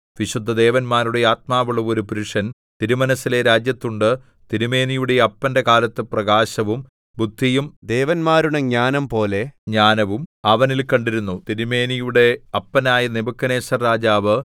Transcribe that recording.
വിശുദ്ധദേവന്മാരുടെ ആത്മാവുള്ള ഒരു പുരുഷൻ തിരുമനസ്സിലെ രാജ്യത്തുണ്ട് തിരുമേനിയുടെ അപ്പന്റെ കാലത്ത് പ്രകാശവും ബുദ്ധിയും ദേവന്മാരുടെ ജ്ഞാനംപോലെ ജ്ഞാനവും അവനിൽ കണ്ടിരുന്നു തിരുമേനിയുടെ അപ്പനായ നെബൂഖദ്നേസർ രാജാവ്